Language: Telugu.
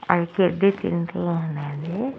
అనేది--